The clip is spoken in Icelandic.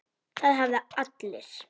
Það hafa allir